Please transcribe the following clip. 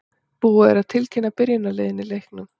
Búið er að tilkynna byrjunarliðin í leiknum.